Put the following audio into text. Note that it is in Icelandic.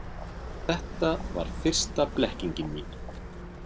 Þetta var fyrsta blekkingin mín.